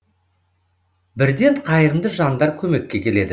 бірден қайырымды жандар көмекке келеді